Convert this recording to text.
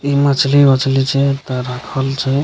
इ मछ्ली-वछली छिये एता राखल छै।